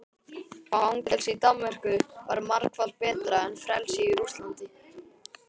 Fangelsi í Danmörku væri margfalt betra en frelsi í Rússlandi.